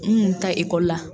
N kun taa ekɔli la.